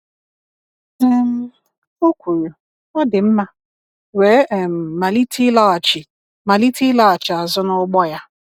um O kwuru “Ọ dị mma" wee um malite ịlaghachi malite ịlaghachi azụ n’ụgbọ ya.